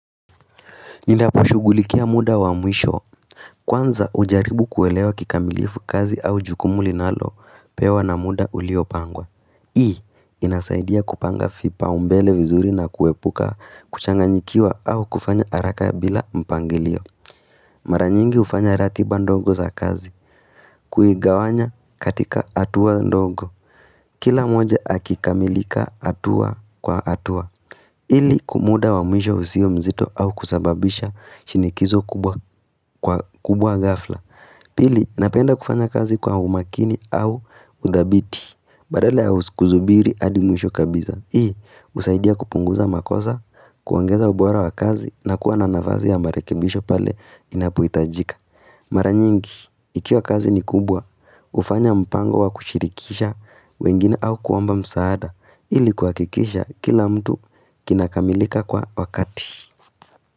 Ninapo shugulikia muda wa mwisho, kwanza ujaribu kuelewa kikamilifu kazi au jukumu linalo pewa na muda uliopangwa. Hii, inasaidia kupanga vipaumbele vizuri na kuepuka kuchanganyikiwa au kufanya haraka bila mpangilio. Maranyingi hufanya ratiba ndongo za kazi, kuigawanya katika hatua ndongo. Kila moja akikamilika hatua kwa hatua. Ili kwa muda wa mwisho usio mzito au kusababisha shinikizo kubwa gafla. Pili, napenda kufanya kazi kwa umakini au udhabiti. Badala ya kuzubiri adi mwisho kabisa. Hii, husaidia kupunguza makosa, kuongeza ubora wa kazi na kuwa na nafazi ya marekebisho pale inapohitajika. Mara nyingi, ikiwa kazi ni kubwa, hufanya mpango wa kushirikisha wengine au kuomba msaada ilikuwa kikisha kila mtu kinakamilika kwa wakati.